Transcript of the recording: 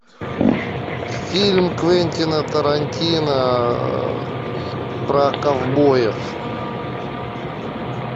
фильм квентина тарантино про ковбоев